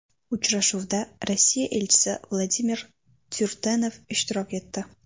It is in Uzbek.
Uchrashuvda Rossiya Elchisi Vladimir Tyurdenev ishtirok etdi.